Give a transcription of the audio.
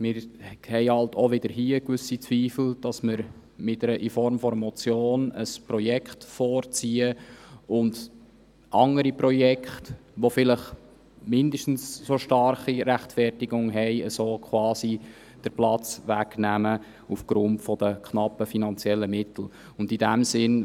Wir haben auch hier gewisse Zweifel, ob wir mit einer Motion nicht ein Projekt vorziehen und anderen Projekten, die vielleicht mindestens so stark gerechtfertigt sind, den Platz wegnehmen, da die finanziellen Mittel knapp sind.